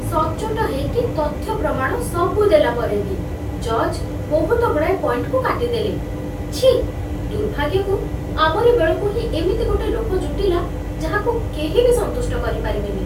ସଚ୍ଚୋଟ ହେଇକି ତଥ୍ୟପ୍ରମାଣ ସବୁ ଦେଲା ପରେ ବି ଜଜ୍ ବହୁତଗୁଡ଼ାଏ ପଏଣ୍ଟ୍‌କୁ କାଟି ଦେଲେ । ଛିଃ, ଦୁର୍ଭାଗ୍ୟକୁ, ଆମରି ବେଳକୁ ହିଁ ଏମିତି ଗୋଟେ ଲୋକ ଜୁଟିଲା, ଯାହାକୁ କେହି ବି ସନ୍ତୁଷ୍ଟ କରିପାରିବେନି ।